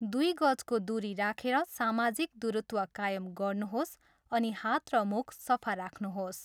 दुई गजको दुरी राखेर सामाजिक दूरत्व कायम गर्नुहोस् अनि हात र मुख सफा राख्नुहोस्।